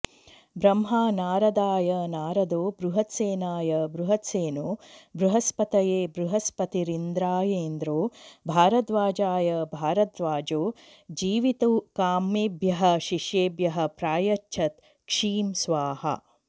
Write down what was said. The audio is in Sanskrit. ब्रह्मा नारदाय नारदो बृहत्सेनाय बृहत्सेनो बृहस्पतये बृहस्पतिरिन्द्रायेन्द्रो भारद्वाजाय भारद्वाजो जीवितुकामेभ्यः शिष्येभ्यः प्रायच्छत् क्षीं स्वाहा